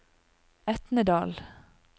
Etnedal